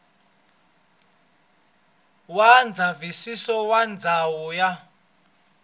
wa ndzavisiso wa ndhawu ya